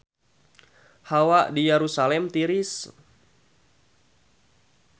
Hawa di Yerusalam tiris